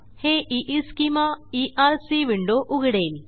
हे Eeschema ERC window उघडेल